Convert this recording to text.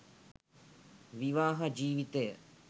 විවාහ ජීවිතය